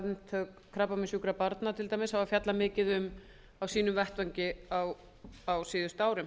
samtök krabbameinssjúkra barna til dæmis hafa fjallað mikið um á sínum vettvangi á síðustu árum